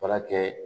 Baara kɛ